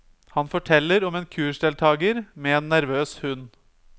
Han forteller om en kursdeltager med en nervøs hund.